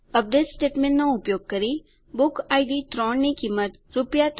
update સ્ટેટમેંટનો ઉપયોગ કરી બુકિડ 3 ની કિંમત રૂ